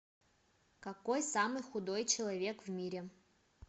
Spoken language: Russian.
какой самый худой человек в мире